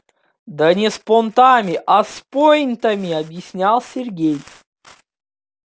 да не с понтами а с пойнтами объяснил сергей